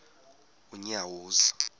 unyawuza